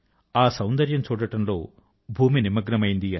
ఆ సౌందర్యం చూడడం లో భూమి నిమగ్నమైంది